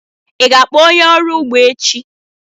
Ị ga-akpọ onye ọrụ ugbo echi?